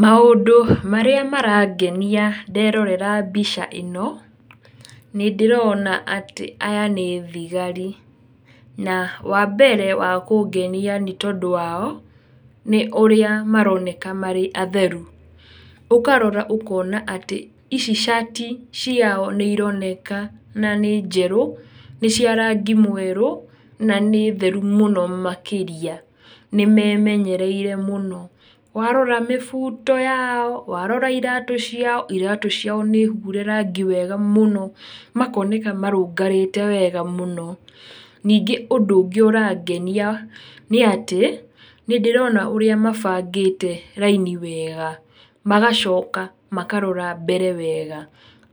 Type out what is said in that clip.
Maũndũ marĩa marangenia nderorera mbica ĩno, nĩndĩrona atĩ aya nĩ thigari, na wambere wa kũngenia nĩtondũ wao, nĩ ũrĩa maroneka marĩ atheru, ũkarora ũkona atĩ, ici cati ciao nĩironekana nĩ njerũ, ní cia rangi mwerũ, na nĩ theru mũno makĩria, nĩmemenyereire mũno makĩria, nĩmemenyereire, warora mĩbuto yao, warora iratũ ciao, iratũ ciao nĩhure rangi wega mũno, makoneka marũngarĩte wega mũno, ningĩ ũndũ úngĩ ũrangenia nĩ atĩ, nĩndĩrona ũrĩa mabangĩte raini wega, magacoka makarora mbere wega,